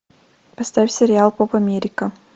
поставь сериал поп америка